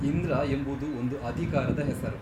ಇಂದ್ರ ಎಂಬುದು ಒಂದು ಅಧಿಕಾರದ ಹೆಸರು.